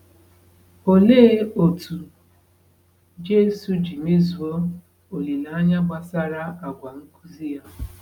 Olee otú Jesu ji mezuo olileanya gbasara àgwà nkuzi ya?